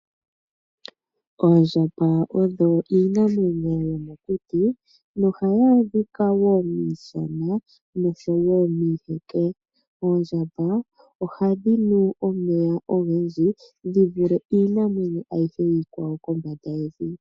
Oondjamba odho iinamwenyo yomokuti ohadhi adhika woo miishana nomiiheke, ohadhi nu omeya ogendji dhi vule iinamwenyo ayihe kombanda yevi.